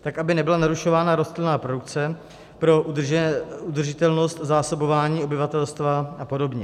tak, aby nebyla narušována rostlinná produkce pro udržitelnost zásobování obyvatelstva a podobně.